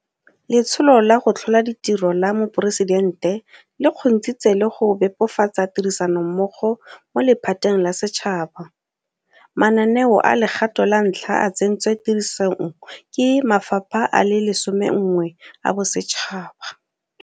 Letsholo la go Tlhola Ditiro la Moporesidente le kgontshitse le go bebofatsa tirisanommogo mo lephateng la setšhaba. Mananeo a legato la ntlha a tsentswe tirisong ke mafapha a le 11 a bosetšhaba.